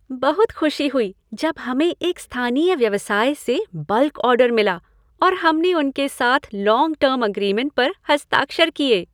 बहुत खुशी हुई जब हमें एक स्थानीय व्यवसाय से बल्क ऑर्डर मिला और हमने उनके साथ लॉन्ग टर्म अग्रीमेंट पर हस्ताक्षर किए।